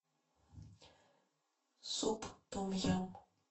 суп том ям